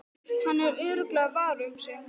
Hann er örugglega var um sig.